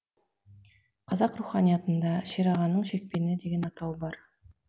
қазақ руханиятында шер ағаның шекпені деген атау бар